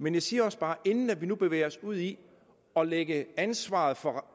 men vi siger også bare at inden man bevæger sig ud i at lægge ansvaret for